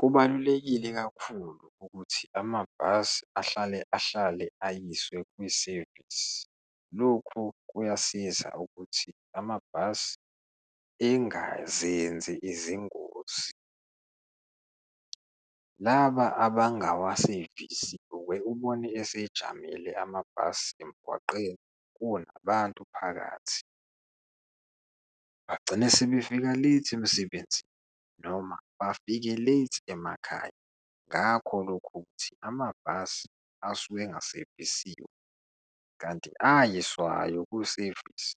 Kubalulekile kakhulu ukuthi amabhasi ahlale ahlale ayiswe kwisevisi, lokhu kuyasiza ukuthi amabhasi engazenzi izingozi. Laba abangawasevisi, uye ubone esejamile amabhasi emgwaqeni kunabantu phakathi, bagcine sebefika late emsebenzini, noma bafike late emakhaya, ngakho lokho ukuthi amabhasi asuke engasevisiwe. Kanti ayiswayo kusevisi,